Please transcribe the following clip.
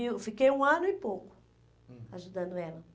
mil. Eu fiquei um ano e pouco ajudando ela.